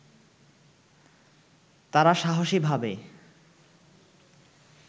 তারা সাহসী ভাবে